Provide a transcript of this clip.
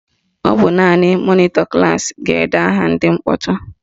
Ọ bụ naanị mọnịtọ klaasị ga-ede aha ndị mkpọtụ